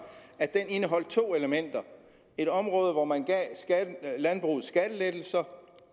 at den indeholdt to elementer et område hvor man gav landbruget skattelettelser